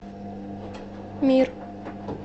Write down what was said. мир